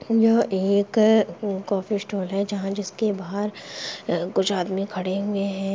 यह एक coffee stall हे जहाँ जिसके बाहर कुछ आदमी खड़े हुए हैं ।